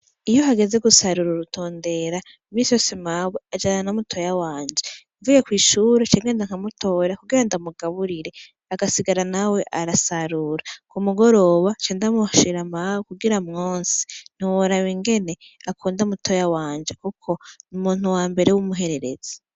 Iyo hageze gusarura urutondera misi yo simawe ajana na mutoya wanje mvuye kw'ishuru cengenda nkamutoya kugira ndamugaburire agasigara nawe arasarura ku mugoroba cendamushira mawe kugira mwosi ntiworaba ingene akunda mutoya wanje, kuko ni umuntu wa mbere w'umuhererezi.